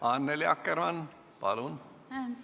Annely Akkerkmann, palun!